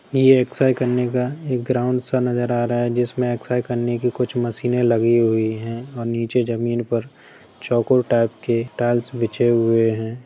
ये एक्सर्साइज़ करने का एक ग्राउन्ड सा नजर या रहा है जिसमे एक्सर्साइज़ करने की कुछ मशीनें लगी हुई है और नीचे जमीन पर चौकोर टाइप के टाइल्स बिछे हुए है ।